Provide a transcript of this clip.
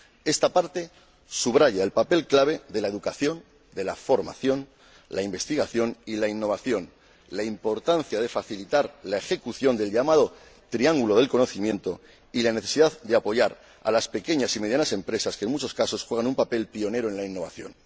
Esta parte subraya el papel clave de la educación, de la formación, de la investigación y de la innovación, la importancia de facilitar la ejecución del llamado triángulo del conocimiento y la necesidad de apoyar a las pequeñas y medianas empresas, que en muchos casos desempeñan un papel pionero en la innovación.